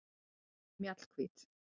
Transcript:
Mjallhvít